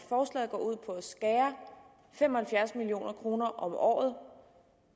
skære fem og halvfjerds million kroner om året